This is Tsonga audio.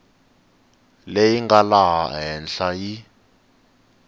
leyi nga laha henhla yi